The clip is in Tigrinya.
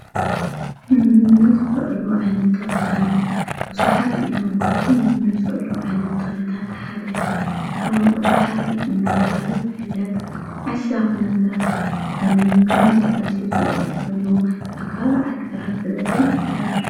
ንምግብነት ዝውዕሉ ዓይነታት ተክሊታት ብዙሓት እዮም። ካብቶም ንምግብነት ዝውዕሉ ዓይነት ተክሊታት እቲ ሓደ ቆሎንቋል ባሕሪ እናተባሃለ ዝፍለጥ ዓሻኽ ነገር ኮንኑ ግን ንምግቢ ዝውዕል ኣብ ከባቢ ዓዲግራት ብበዝሒ ይዝዉተር።